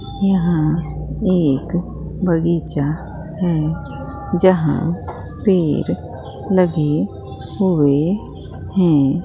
यहां एक बगीचा है जहां पेड़ लगे हुए हैं।